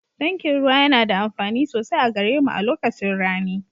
Tankin ruwa yana da amfani sosai a gare mu a lokacin rani